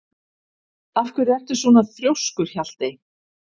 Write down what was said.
Af hverju ertu svona þrjóskur, Hjaltey?